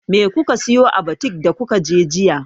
Me kuka siyo a butik da kuka je jiya?